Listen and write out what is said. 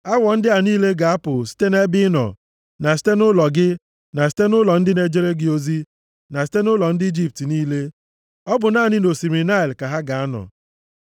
Awọ ndị a niile ga-apụ site nʼebe ị nọ, na site nʼụlọ gị na site nʼụlọ ndị na-ejere gị ozi na site nʼụlọ ndị Ijipt niile. Ọ bụ naanị nʼosimiri Naịl ka ha ga-anọ.”